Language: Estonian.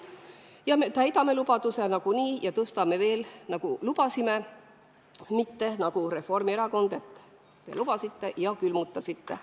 Ja me täidame lubaduse nagunii ja tõstame veel, nagu lubasime, mitte nagu Reformierakond, kes te lubasite, aga külmutasite.